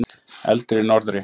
Eldur í norðri.